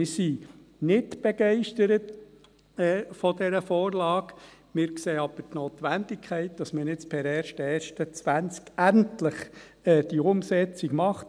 Wir sind nicht begeistert von dieser Vorlage, wir sehen aber die Notwendigkeit, dass man nun per 01.01.2020 diese Umsetzung macht.